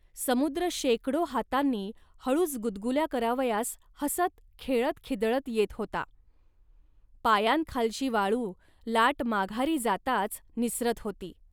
समुद्र शेकडो हातांनी हळूच गुदगुल्या करावयास हसत खेळतखिदळत येत होता. पायांखालची वाळू लाट माघारी जाताच निसरत होती